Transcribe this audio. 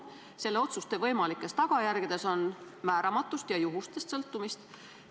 Selle otsuste võimalikes tagajärgedes on määramatust ja juhustest sõltumist.